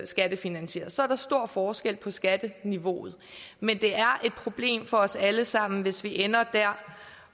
skattefinansieres så er der stor forskel på skatteniveauet men det er et problem for os alle sammen hvis vi ender der